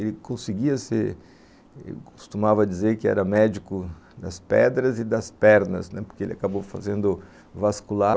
Ele conseguia ser, costumava dizer que era médico das pedras e das pernas, né, porque ele acabou fazendo vascular.